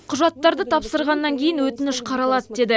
құжаттарды тапсырғаннан кейін өтініш қаралады деді